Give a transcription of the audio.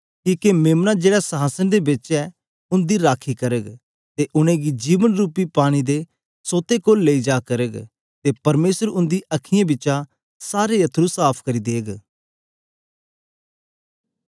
किके मेम्ना जेहड़ा संहासन दे बिच ऐ उंदी रखी करग ते उनेंगी जीवन रूपी पानी दे सोते कोल लेई जा करग ते परमेसर उंदी अखां बिचा सारे अथरू साफ़ करी देग